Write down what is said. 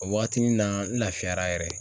O waati nin na n lafiyara yɛrɛ